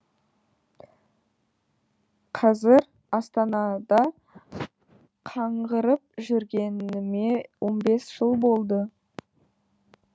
қазір астанада қаңғырып жүргеніме он бес жыл болды